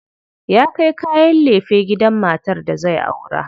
Ya kai kayan lefe gidan matar da zai aura.